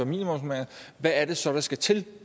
minimumsnormeringer hvad er det så der skal til